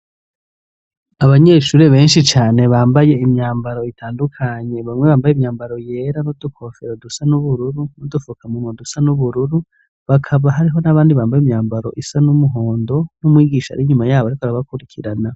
Abanyeshure benshi cane, bambaye imyambaro itandukanye, bamwe bambaye imyambaro yera, n'udukofera dusa n'ubururu, n'udufukamunwa dusa n'ubururu, bakaba hariho n'abandi, bambaye imyambaro isa n'umuhondo, n'umwigisha ari inyuma yabo ariko arabakurikirana.